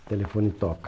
O telefone toca.